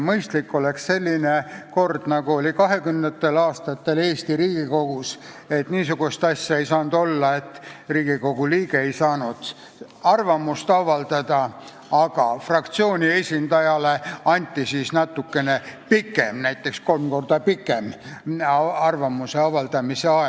Mõistlik oleks selline kord, nagu oli kahekümnendatel aastatel Eesti Riigikogus, kui ei saanud olla niisugust asja, et Riigikogu liige ei saanud arvamust avaldada, fraktsiooni esindajale anti siis natuke pikem, näiteks kolm korda pikem arvamuse avaldamise aeg.